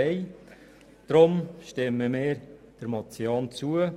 Deshalb stimmen wir dieser Motion zu.